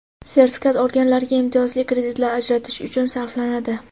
sertifikat olganlarga imtiyozli kreditlar ajratish uchun sarflanadi.